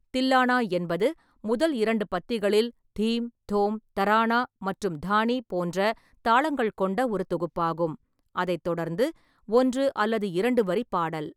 தில்லனா என்பது முதல் இரண்டு பத்திகளில் தீம், தோம், தரானா மற்றும் தானி போன்ற தாளங்கள் கொண்ட ஒரு தொகுப்பாகும், அதைத் தொடர்ந்து ஒன்று அல்லது இரண்டு வரி பாடல்.